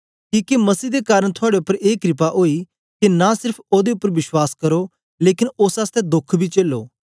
किके मसीह दे कारन थुआड़े उपर ए क्रपा ओई के नां सेर्फ ओदे उपर विश्वास करो लेकन ओस आसतै दोख बी चेलो